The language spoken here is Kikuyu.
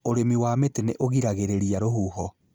Ũrĩmi wa mĩtĩ nĩ ũgiragĩrĩria rũhuho